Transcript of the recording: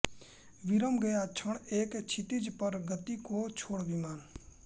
विरम गया क्षण एक क्षितिज पर गति को छोड़ विमान